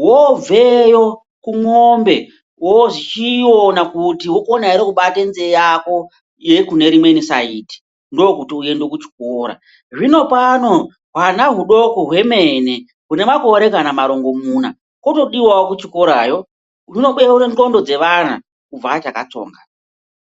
Voobveyo kun'ombe vochiona kuti wokona here kubata nzeve yako yekunerimweni saidhi ndokuti ukwanise kuenda kuchikora. Hino pano hwana hwudoko hwemene hwunemakore kana marongomuna otodiwawo kuchikorayo, kunonobeurwa ndxondo dzevana kubva achakatsonga.